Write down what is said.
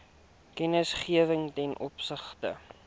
kennisgewing ten opsigte